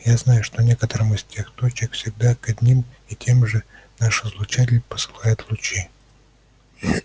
я знаю что некоторым из этих точек всегда к одним и тем же наш излучатель посылает лучи